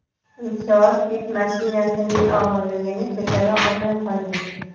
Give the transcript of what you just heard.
Inshoot yuk mashinasining og‘irligini ko‘tara olmay qolgan .